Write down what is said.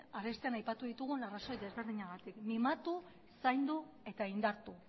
arestian aipatu ditugun arrazoi ezberdinengatik mimatu zaindu eta indartu